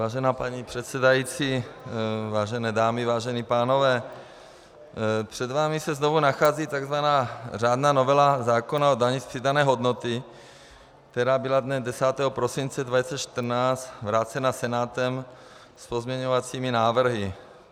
Vážená paní předsedající, vážené dámy, vážení pánové, před vámi se znovu nachází takzvaná řádná novela zákona o dani z přidané hodnoty, která byla dne 10. prosince 2014 vrácena Senátem s pozměňovacími návrhy.